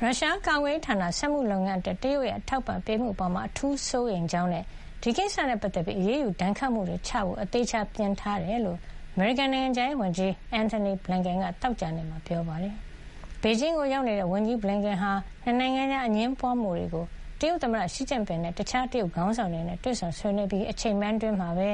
ရုရှား ကာကွယ်ရေးဌာန စက်မှုလုပ်ငန်းအတွက် တရုတ်ရဲ့ အထောက်အပံ့ပေးမှုအပေါ် အထူးစိုးရိမ်ကြောင်းနဲ့ ဒီကိစ္စနဲ့ပတ်သက်ပြီး အရေးယူဒဏ်ခတ်မှုတွေ ချမှတ်ဖို့ အသေချာပြင်ဆင်ထားတယ်လို့ အမေရိကန်နိုင်ငံခြားရေးဝန်ကြီး Anthony Blinken က သောကြာနေ့မှာ ပြောကြားလိုက်ပါတယ်။ ဘေဂျင်းကိုရောက်နေတဲ့ ဝန်ကြီး Blinken ဟာ ၂ နိုင်ငံကြား အငြင်းပွါးမှုတွေကို တရုတ်သမ္မတ ရှီကျင့်ပင်နဲ့ရော၊ အခြားတရုတ်ခေါင်းဆောင်တွေနဲ့ပါ တွေ့ဆုံဆွေးနွေးခဲ့ပြီး အချိန်ပိုင်းအတွင်းမှာပဲ